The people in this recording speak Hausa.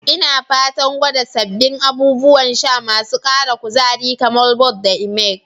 Ina fatan gwada sabbin abubuwan sha masu ara kuzari, kamar "Vault" da "Emerge".